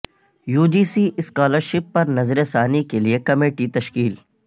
you G C scholarship پر نظر ثانی کے لئے کمیٹی تشکیل